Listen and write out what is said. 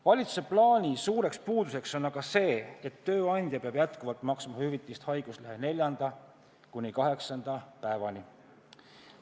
Valitsuse plaani suur puudus on aga see, et hüvitist haiguslehe neljanda kuni kaheksanda päeva eest peab ikka maksma tööandja.